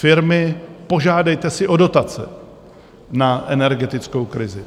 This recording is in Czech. Firmy, požádejte si o dotace na energetickou krizi.